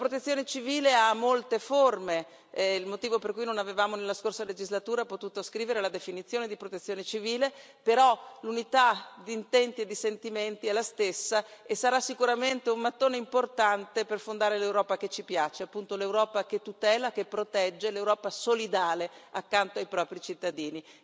La protezione civile ha molte forme è questo il motivo per cui nella scorsa legislatura non avevamo potuto scrivere la definizione di protezione civile però l'unità d'intenti e di sentimenti è la stessa e sarà sicuramente un mattone importante per fondare l'Europa che ci piace, appunto l'Europa che tutela, che protegge, l'Europa solidale accanto ai propri cittadini.